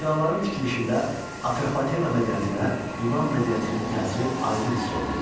Binaların tikilişində Atropatena mədəniyyətinə Yunan mədəniyyətinin təsiri aydın hiss olunurdu.